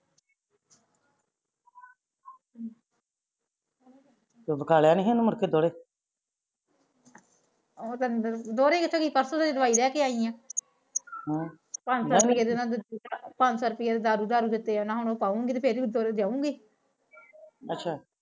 ਤੂੰ ਉਹ ਕਿਥੇ ਗਈ ਪਾਰਸੋ ਤਾ ਦਵਾਈ ਲੈਕੇ ਆਈ ਆ ਪੰਜ ਸੋ ਪੰਜ ਸੋ ਦਾ ਦਾਰੂ ਦਾਰੂ ਜਾਉਗੀ ਅੱਛਾ